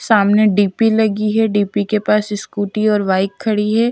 सामने डी_पी लगी है डी_पी के पास स्कूटी और बाइक ख ड़ी है --